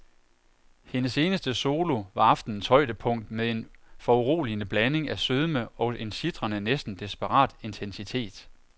Hendes eneste solo var aftenens højdepunkt med en foruroligende blanding af sødme og en sitrende, næsten desperat intensitet.